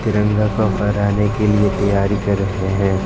तिरंगा को फहराने के लिए तैयारी कर रहे है।